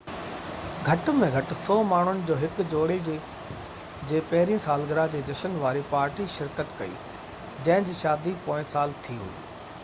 گهٽ ۾ گهٽ 100 ماڻهن ۾ هڪ جوڙي جي پهريئن سالگرهه جي جشن واري پارٽي شرڪت ڪئي جنهن جي شادي پوئين سال ٿي هئي